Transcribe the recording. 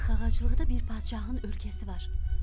40 ağaclıqda bir padşahın ölkəsi var.